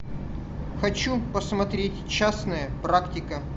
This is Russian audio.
хочу посмотреть частная практика